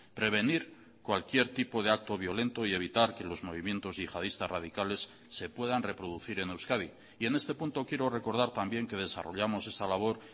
prevenir cualquier tipo de acto violento y evitar que los movimientos yihadistas radicales se puedan reproducir en euskadi y en este punto quiero recordar también que desarrollamos esa labor